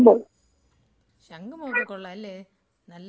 ശങ്കുമുഖം ഒക്കെ കൊള്ളാ അല്ലേ നല്ല *നോട്ട്‌ ക്ലിയർ* ബീച്ച്.